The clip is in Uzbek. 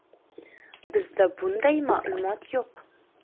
Bizda bunday ma’lumot yo‘q.